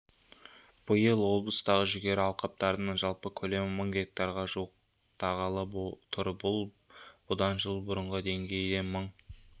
биыл облыстағы жүгері алқаптарының жалпы көлемі мың гектарға жуықтағалы тұр бұл бұдан жыл бұрынғы деңгейден мың